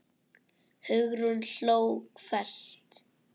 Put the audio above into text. Hugrún hló hvellt.